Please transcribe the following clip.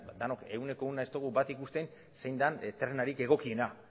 denok ehuneko ehuna ez dugu bat ikusten zein den tresnarik egokiena